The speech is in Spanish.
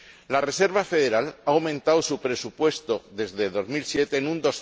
La Reserva Federal ha aumentado su presupuesto desde 2007 en un